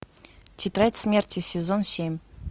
тетрадь смерти сезон семь